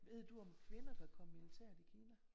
Ved du om kvinder kan komme i militæret i Kina?